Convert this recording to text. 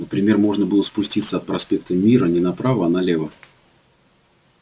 например можно было спуститься от проспекта мира не направо а налево